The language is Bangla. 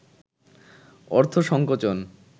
অর্থ সংকোচন